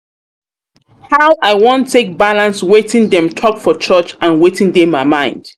how i wan take balance wetin dem talk for church and wetin dey my mind?